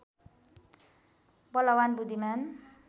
बलवान् बुद्धिमान्